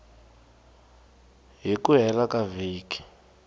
hi ku hela ka vhiki